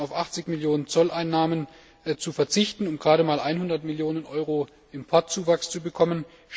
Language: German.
Macht es Sinn, auf 80 Millionen Zolleinnahmen zu verzichten und gerade mal 100 Millionen Euro Importzuwachs zu bekommen?